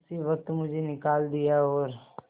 उसी वक्त मुझे निकाल दिया और